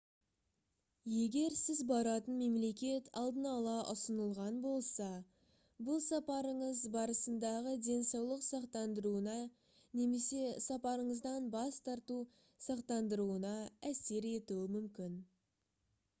егер сіз баратын мемлекет алдын ала ұсынылған болса бұл сапарыңыз барысындағы денсаулық сақтандыруына немесе сапарыңыздан бас тарту сақтандыруына әсер етуі мүмкін